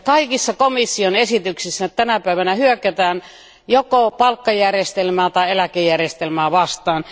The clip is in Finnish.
Kaikissa komission esityksissä tänä päivänä hyökätään joko palkka tai eläkejärjestelmää vastaan.